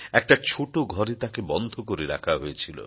একটা ছোট ঘরে তাঁকে বন্ধ করে রাখা হয়েছিল